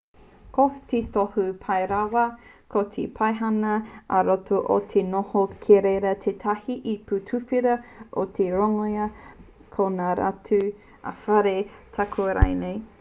ko te tohu pai rawa o te paihana ā-roto ko te noho ki reira a tētahi ipu tuwhera o te rongoā o ngā matū ā-whare tāoke rānei